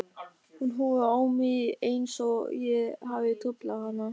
Hún horfir á mig einsog ég hafi truflað hana.